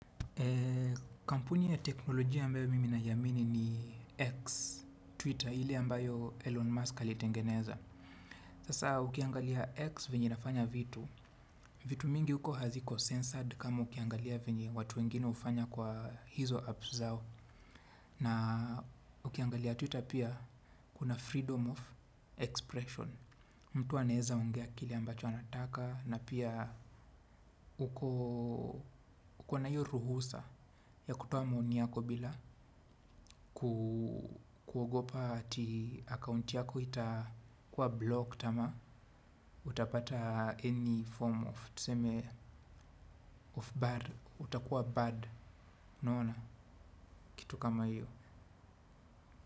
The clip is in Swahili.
Kampuni ya teknolojia ambayo mimi na iamini ni X Twitter ile ambayo Elon Musk alitengeneza. Sasa ukiangalia X vinye inafanya vitu. Vitu mingi huko haziko censored kama ukiangalia venye watu wengine hufanya kwa hizo apps zao. Na ukiangalia Twitter pia kuna freedom of expression. Mtu anaeza ongea kile ambacho anataka na pia uko kuna hiyo ruhusa ya kutoa maoni yako bila kuogopa ati account yako ita kuwa blocked ama utapata any form of tuseme of bad utakuwa bad unaona kitu kama hiyo.